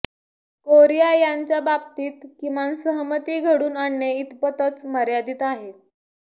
Korea यांच्या बाबतीत किमान सहमती घडून आणणे इतपतच मर्यादित आहे